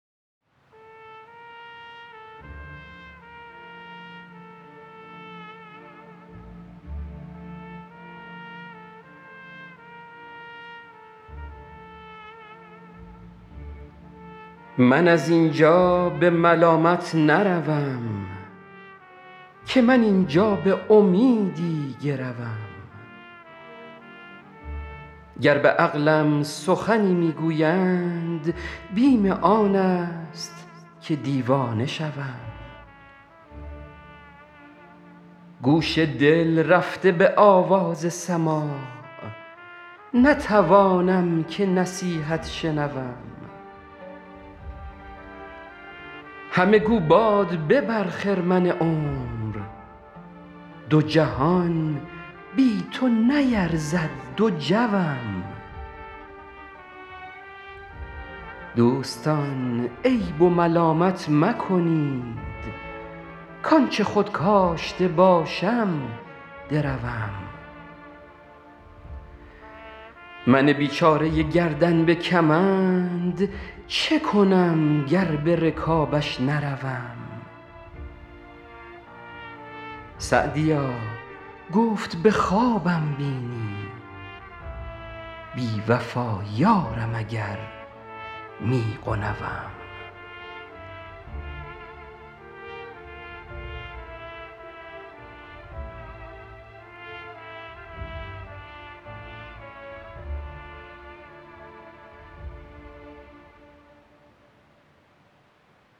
من از این جا به ملامت نروم که من این جا به امیدی گروم گر به عقلم سخنی می گویند بیم آن است که دیوانه شوم گوش دل رفته به آواز سماع نتوانم که نصیحت شنوم همه گو باد ببر خرمن عمر دو جهان بی تو نیرزد دو جوم دوستان عیب و ملامت مکنید کآن چه خود کاشته باشم دروم من بیچاره گردن به کمند چه کنم گر به رکابش نروم سعدیا گفت به خوابم بینی بی وفا یارم اگر می غنوم